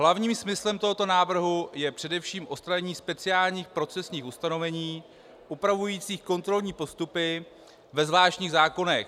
Hlavním smyslem tohoto návrhu je především odstranění speciálních procesních ustanovení upravujících kontrolní postupy ve zvláštních zákonech.